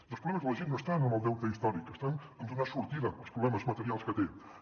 i els problemes de la gent no estan en el deute històric estan en donar sortida als problemes materials que tenen